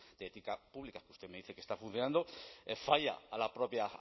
de ética pública que usted me dice que está funcionando falla a la propia